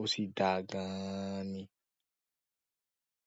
ó sì dáa gan-an ni.